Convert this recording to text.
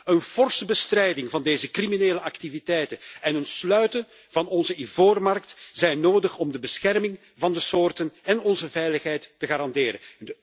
Een forse bestrijding van deze criminele activiteiten en het sluiten van onze ivoormarkt zijn nodig om de bescherming van de soorten en onze veiligheid te garanderen.